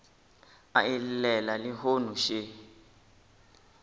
a e llela lehono še